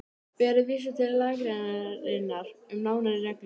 Ber að vísa til lagagreinarinnar um nánari reglur.